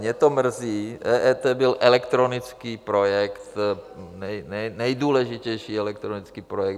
Mě to mrzí, EET byl elektronický projekt, nejdůležitější elektronický projekt.